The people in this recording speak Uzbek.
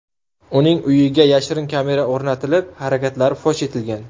Uning uyiga yashirin kamera o‘rnatilib, harakatlari fosh etilgan.